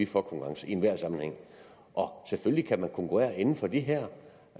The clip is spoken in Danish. for konkurrence i enhver sammenhæng og selvfølgelig kan man konkurrere inden for de her